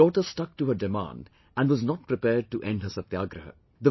The daughter stuck to her demand and was not prepared to end her Satyagrah